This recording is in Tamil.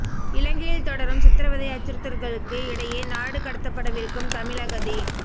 இலங்கையில் தொடரும் சித்ரவதை அச்சுறுத்தல்களுக்கு இடையே நாடு கடத்தப்படவிருக்கும் தமிழ் அகதி